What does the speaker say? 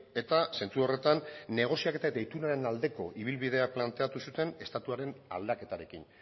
eta zentzu horretan negoziaketa eta itunaren aldeko ibilbidea planteatu zuten estatuaren aldaketarekin